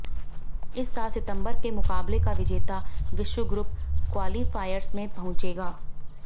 इस साल सितंबर के मुकाबले का विजेता विश्व ग्रुप क्वालीफायर्स में पहुंचेगा